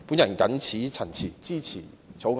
我謹此陳辭，支持《條例草案》。